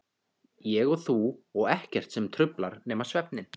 Ég og þú og ekkert sem truflar nema svefninn.